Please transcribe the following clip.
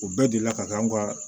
O bɛɛ delila ka kɛ an ka